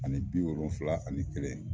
Ani bi wolonfila ani kelen